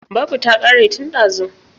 Babu ta ƙare tun ɗazu.